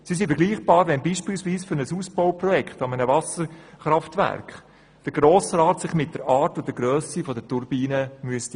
Sie sind damit vergleichbar, wie wenn sich der Grosse Rat beispielsweise bei einem Ausbauprojekt eines Wasserkraftwerks mit der Grösse und der Art der Turbinen befassen müsste.